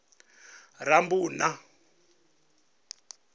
rammbuḓa